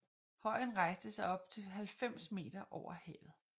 Højen rejser sig op til 90 meter over havet